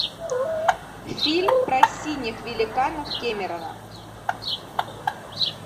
фильм про синих великанов кемерово